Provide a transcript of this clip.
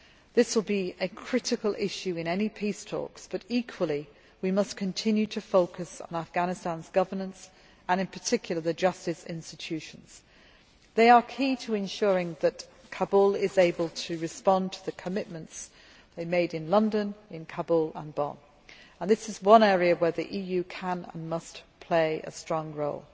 This will be a critical issue in any peace talks, but equally we must continue to focus on Afghanistan's governance and, in particular, the justice institutions they are key to ensuring that the Afghan Government is able to respond to the commitments it made in London, in Kabul and in Bonn. This is one area where the EU can and must play a strong role.